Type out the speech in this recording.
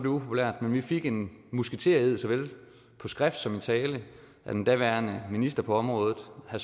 upopulært men vi fik en musketered såvel på skrift som i tale af den daværende minister på området herre